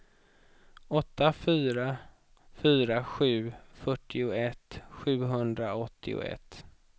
åtta fyra fyra sju fyrtioett sjuhundraåttioett